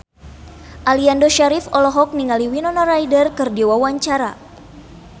Aliando Syarif olohok ningali Winona Ryder keur diwawancara